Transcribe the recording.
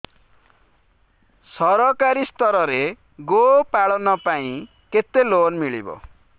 ସରକାରୀ ସ୍ତରରେ ଗୋ ପାଳନ ପାଇଁ କେତେ ଲୋନ୍ ମିଳେ